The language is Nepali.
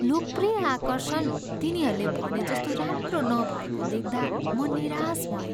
लोकप्रिय आकर्षण तिनीहरूले भने जस्तो राम्रो नभएको देख्दा म निराश भएँ।